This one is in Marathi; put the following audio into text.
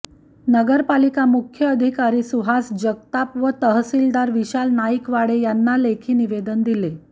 नगरपालिका मुख्यधिकारी सुहास जगताप व तहसीलदार विशाल नाईकवाडे यांना लेखी निवेदन दिले